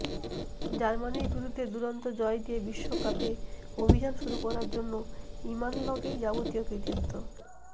জার্মানির বিরুদ্ধে দুরন্ত জয় দিয়ে বিশ্বকাপে অভিযান শুরু করার জন্য ইমানলকেই যাবতীয় কৃতিত্ব